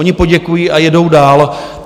Oni poděkují a jedou dál.